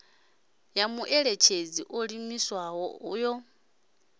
ya muṋetshedzi o ḓiimisaho yo